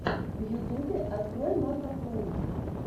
в ютубе открой макоплэй